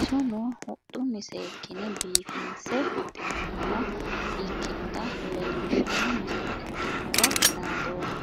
Isono huxxunni seekkine biifinse huxxinoonniha ikkinota leellishshanno misile ikkinohura naadoomma.